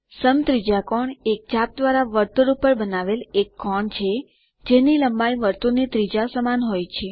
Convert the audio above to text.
સમત્રિજ્યાકોણ એક ચાપ દ્વારા વર્તુળ ઉપર બનાવેલ એક કોણ હોય છે જેની લંબાઈ વર્તુળની ત્રિજ્યા સમાન હોય છે